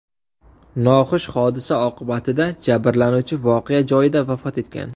Noxush hodisa oqibatida jabrlanuvchi voqea joyida vafot etgan.